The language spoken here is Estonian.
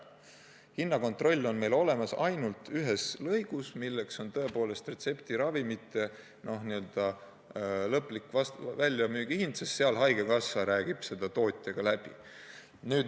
Hinnakontroll on meil olemas ainult ühes lõigus, milleks on tõepoolest retseptiravimite lõplik väljamüügihind, sest haigekassa räägib selle tootjaga läbi.